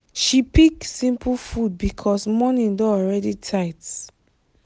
she pick simple food because morning don already tight.